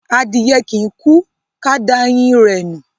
Adìye kìí kú ka da ẹyin rẹ̀ nù.